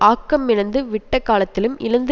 ஆக்கம் இழந்து விட்டக்காலத்திலும் இழந்து